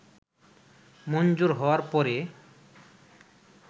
মঞ্জুর হওয়ার পরে